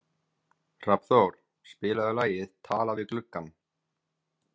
Hrafnþór, spilaðu lagið „Talað við gluggann“.